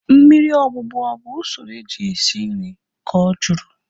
Mmiri ogbugbọ ọ bụ usoro eji esi nri? Ka ọ jụrụ